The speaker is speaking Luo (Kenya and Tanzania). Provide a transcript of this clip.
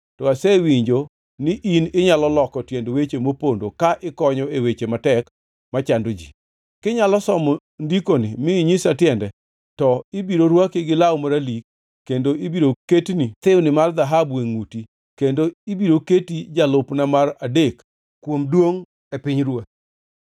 To asewinjo ni in inyalo loko tiend weche mopondo ka ikonyo e weche matek machando ji. Kinyalo somo ndikoni mi inyisa tiende to ibiro rwakni law maralik kendo ibiro ketni thiwni mar dhahabu e ngʼuti, kendo ibiro keti jalupna mar adek kuom duongʼ e pinyruoth.